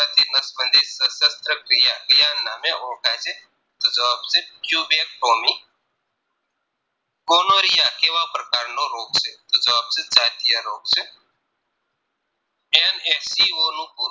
સસ્ત ક્રિયા ક્યાં નામે ઓળખાય છે તો જવાબ છે Quebecomi Conorrhea કેવા પ્રકારનો રોગ છે તો જવાબ છે દાજ્યા રોગ છે NSCO નું પૂરું